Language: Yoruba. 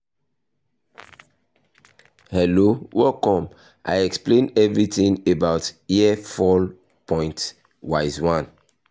hello welcome i explain everything about hair fall point wise 1